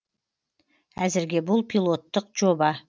әзірге бұл пилоттық жоба